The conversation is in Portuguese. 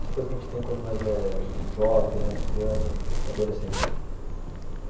Essa coisa que a gente tem quando mais é jovem, quando mais é criança, adolescente ainda.